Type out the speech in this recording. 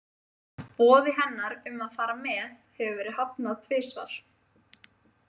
Boði hennar um að fara með hefur verið hafnað tvisvar.